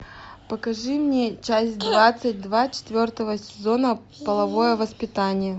покажи мне часть двадцать два четвертого сезона половое воспитание